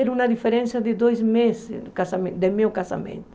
Era uma diferença de dois meses do casamen de meu casamento.